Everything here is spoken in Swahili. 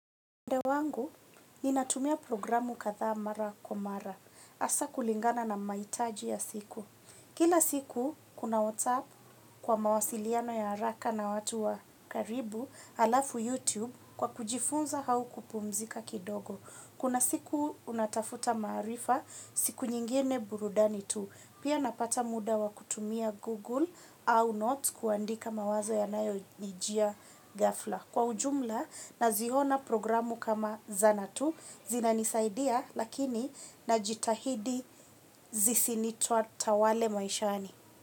Ande wangu, ni natumia programu katha mara kwa mara. Asa kulingana na maitaji ya siku. Kila siku, kuna whatsapp kwa mawasiliano ya haraka na watu wa karibu alafu YouTube kwa kujifunza hau kupumzika kidogo. Kuna siku unatafuta marifa siku nyingine burudani tu. Pia napata muda wa kutumia Google au notes kuandika mawazo ya nayo nijia ghafla. Kwa ujumla na zihona programu kama zanatu zina nisaidia lakini na jitahidi zisinitua tawale maishani.